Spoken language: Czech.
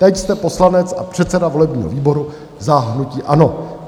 Teď jste poslanec a předseda volebního výboru za hnutí ANO.